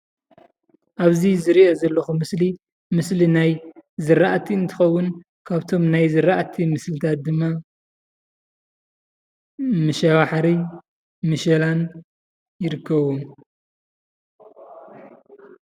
እብዚ ዝሪኦ ዘለኹ ምስሊ ምስሊ ናይ ዝራእቲ እንትኸዉን ካብቶም ናይ ዝራእቲ ምስልታት ድማ መሸባሕርን ምሸላን ይርከብዎም።